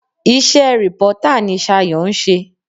Ise rìpọ́tà ní Sayo n se.